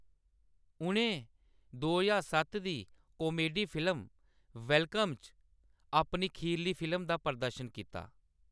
उʼनें दो ज्हार सत्त दी कॉमेडी फिल्म, वेलकम च अपनी खीरली फिल्म दा प्रदर्शन कीता।